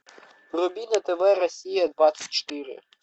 вруби на тв россия двадцать четыре